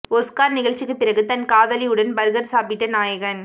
Oscar நிகழ்ச்சிக்கு பிறகு தன் காதலியுடன் பர்கர் சாப்பிட்ட நாயகன்